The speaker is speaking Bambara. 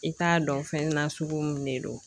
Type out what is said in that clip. I t'a dɔn fɛn na sugu min de don